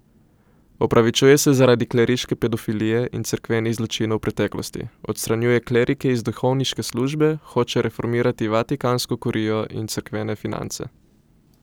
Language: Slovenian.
Opravičuje se zaradi kleriške pedofilije in cerkvenih zločinov v preteklosti, odstranjuje klerike iz duhovniške službe, hoče reformirati vatikansko kurijo in cerkvene finance ...